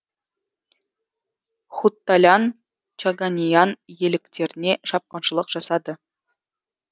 хутталян чаганиан иеліктеріне шапқыншылық жасады